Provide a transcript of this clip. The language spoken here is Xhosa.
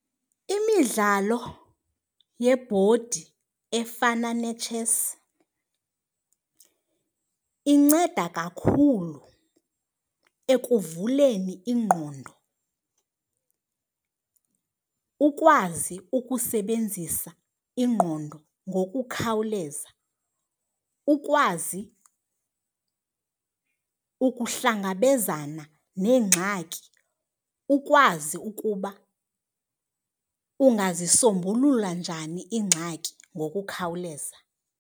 Imidlalo yebhodi efana netshesi inceda kakhulu ekuvuleni ingqondo, ukwazi ukusebenzisa ingqondo ngokukhawuleza, ukwazi ukuhlangabezana neengxaki, ukwazi ukuba ungazisombulula njani iingxaki ngokukhawuleza.